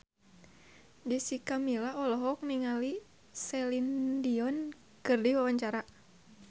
Jessica Milla olohok ningali Celine Dion keur diwawancara